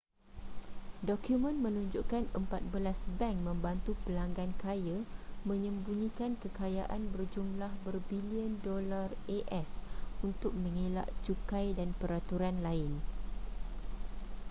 dokumen menunjukkan empat belas bank membantu pelanggan kaya menyembunyikan kekayaan berjumlah berbilion dolar as untuk mengelak cukai dan peraturan lain